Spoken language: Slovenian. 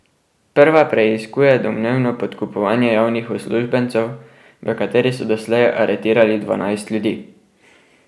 Prva preiskuje domnevno podkupovanje javnih uslužbencev, v kateri so doslej aretirali dvanajst ljudi.